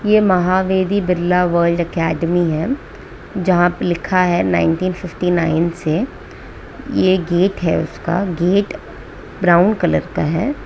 यह Mahavedi Birla world academy है जहां पे लिखा है नाइन्टीन फिफ्टी नाइन से यह गेट है उसका गेट ब्राउन कलर का है।